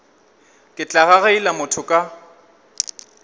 ke tla gagaila motho ka